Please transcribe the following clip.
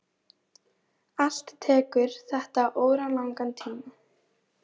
Allt tekur þetta óralangan tíma.